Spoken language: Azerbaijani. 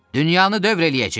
Dünyanı dövr eləyəcəyik!